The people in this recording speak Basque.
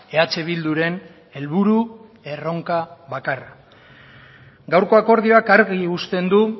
eh bilduren helburu erronka bakarra gaurko akordioak argi uzten du